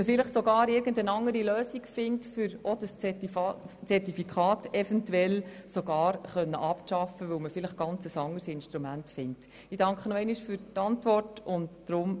Vielleicht findet man sogar irgendeine andere Lösung und kann irgendwann sogar das Zertifikat abschaffen, weil dann ein anderes Instrument zur Verfügung steht.